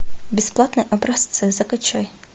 бесплатные образцы закачай